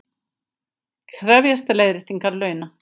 Krefjast leiðréttingar launa